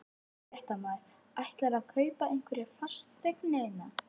Fréttamaður: Ætlarðu að kaupa einhverjar fasteignir hérna?